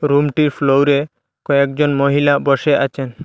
রুমটির ফ্লোরে কয়েকজন মহিলা বসে আচেন।